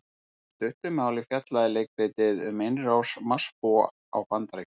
Í stuttu máli fjallaði leikritið um innrás Marsbúa á Bandaríkin.